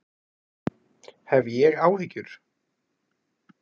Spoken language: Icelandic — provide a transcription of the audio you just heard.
Hef ég áhyggjur?